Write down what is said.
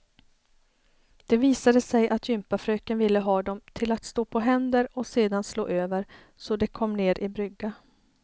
Det visade sig att jympafröken ville ha dem till att stå på händer och sedan slå över, så de kom ner i brygga.